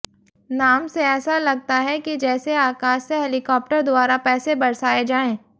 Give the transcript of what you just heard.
नाम से ऐसा लगता है कि जैसे आकाश से हेलिकॉप्टर द्वारा पैसे बरसाए जाएं